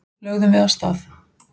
Lögðum við af stað.